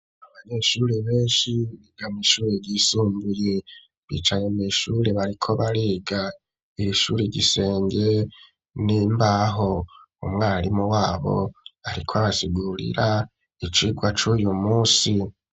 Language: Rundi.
Abanyeshuri benshi biga mw'ishuri ryisumbuye bicaye mw'ishuri bariko bariga. Iri shuri igisenge n’imbaho. Umwarimu wabo ariko abasigurira icirwa c'uyu munsi.